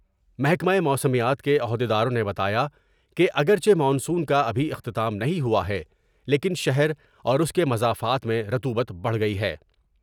محکمہ موسمیات کے عہدیداروں نے بتایا کہ اگر چہ مانسون کا ابھی اختتام نہیں ہوا ہے لیکن شہر اور اس کے مضافات میں رطوبت بڑھ گئی ہے ۔